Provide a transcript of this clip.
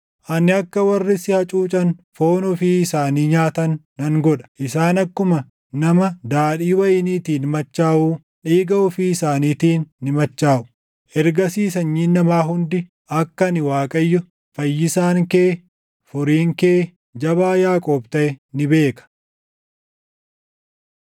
Ani akka warri si hacuucan foon ofii isaanii nyaatan nan godha; isaan akkuma nama daadhii wayiniitiin machaaʼuu // dhiiga ofii isaaniitiin ni machaaʼu. Ergasii sanyiin namaa hundi, akka ani Waaqayyo, Fayyisaan kee, Furiin kee, Jabaa Yaaqoob taʼe ni beeka.”